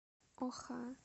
оха